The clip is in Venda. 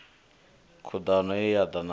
khudano ye ya da na